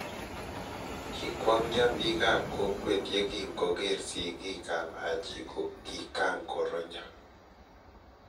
Kikwongyo biik ab kokwee ye king koger sikiik ab Haji ko kingaronyo